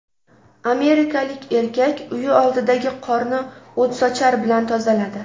Amerikalik erkak uyi oldidagi qorni o‘tsochar bilan tozaladi .